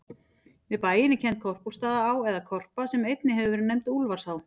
Við bæinn er kennd Korpúlfsstaðaá, eða Korpa, sem einnig hefur verið nefnd Úlfarsá.